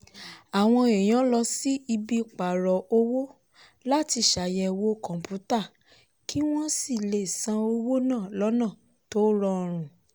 àwọn èèyàn lọ sí ibi pààrò owó láti ṣàyẹ̀wò kọ̀ǹpútàkí wọ́n sì lè san owó náà lọ́nà tó rọrùn.